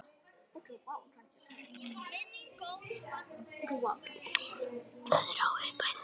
Það er há upphæð.